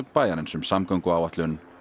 bæjarins um samgönguáætlun